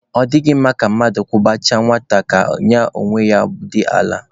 Ọ dịghị mma ka mmadụ kwụbachaa nwata ka ya onwe ya daa n'ala